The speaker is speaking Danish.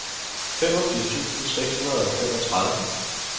femogfirs tusind seks hundrede og femogtredive